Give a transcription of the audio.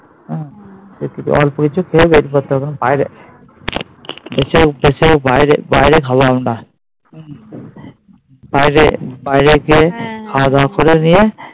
বাইরে বাইরে খাবো আমরা হম বাইরে বাইরে গিয়ে খাওয়া দাওয়া করে নিয়ে